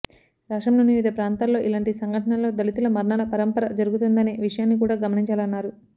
రాష్ట్రంలోని వివిధ ప్రాంతాల్లో ఇలాంటి సంఘటనలలో దళితుల మరణాల పరంపర జరుగుతుందనే విషయాన్ని కూడా గమనించాలన్నారు